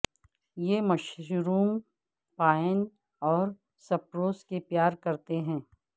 یہ mushroom pine اور spruce سے پیار کرتے ہیں